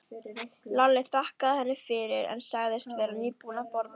Lalli þakkaði henni fyrir, en sagðist vera nýbúinn að borða.